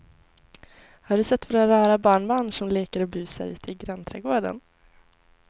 Har du sett våra rara barnbarn som leker och busar ute i grannträdgården!